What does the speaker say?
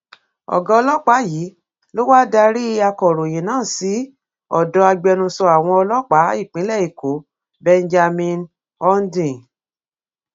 ọgá ọlọpàá yìí ló wáá darí akọròyìn náà sí ọdọ agbẹnusọ àwọn ọlọpàá ìpínlẹ èkó benjamin hondyin